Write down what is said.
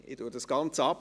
Ich kürze das Ganze ab: